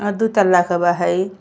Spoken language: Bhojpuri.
आ दू तल्ला क बा हई।